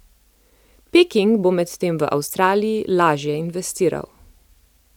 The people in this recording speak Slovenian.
Peking bo medtem v Avstraliji lažje investiral.